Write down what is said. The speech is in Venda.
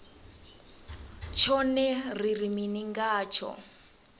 tshone ri ri mini ngatsho